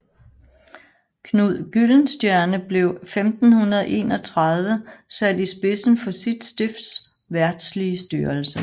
Knud Gyldenstierne blev 1531 sat i spidsen for sit stifts verdslige styrelse